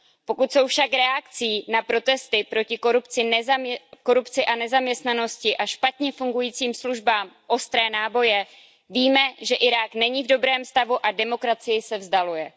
Pokud jsou však reakcí na protesty proti korupci a nezaměstnanosti a špatně fungujícím službám ostré náboje, víme, že Irák není v dobrém stavu a demokracii se vzdaluje.